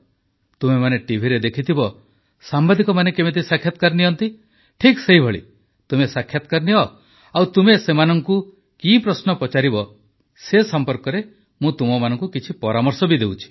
ତୁମେମାନେ ଟିଭିରେ ଦେଖିଥିବ ସାମ୍ବାଦିକମାନେ କେମିତି ସାକ୍ଷାତକାର ନିଅନ୍ତି ଠିକ୍ ସେହିପରି ତୁମେ ସାକ୍ଷାତକାର ନିଅ ଆଉ ତୁମେ ସେମାନଙ୍କୁ କି ପ୍ରଶ୍ନ ପଚାରିବ ସେ ସମ୍ପର୍କରେ ମୁଁ ତୁମମାନଙ୍କୁ କିଛି ପରାମର୍ଶ ଦେଉଛି